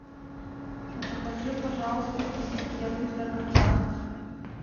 закажи пожалуйста китикет для кота